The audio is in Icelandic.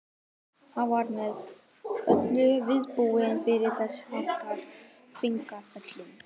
Hann var með öllu vanbúinn fyrir þess háttar feigðarflan.